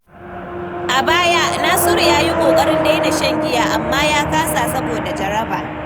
A baya, Nasiru ya yi ƙoƙarin daina shan giya, amma ya kasa saboda jaraba.